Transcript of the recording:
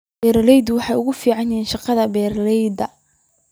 Beeraleydu waxay ku faanaan shaqada beeralayda.